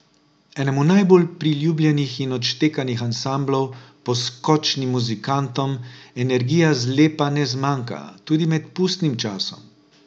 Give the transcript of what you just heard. Enemu najbolj priljubljenih in odštekanih ansamblov, Poskočnim muzikantom, energije zlepa ne zmanjka, tudi med pustnim časom.